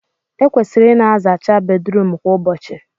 Ekwesịrị ịna azacha Bedrum kwa ụbọchị